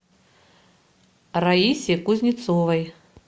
раисе кузнецовой